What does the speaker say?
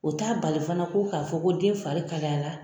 U t'a bali fana ko k'a fɔ ko den fari kalayara